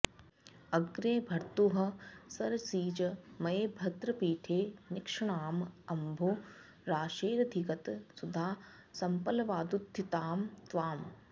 अग्रे भर्तुः सरसिज मये भद्र पीठे निषण्णाम् अम्भो राशेरधिगत सुधा सम्प्लवादुत्थितां त्वाम्